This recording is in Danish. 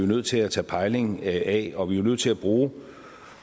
nødt til at tage pejling af og vi er nødt til at bruge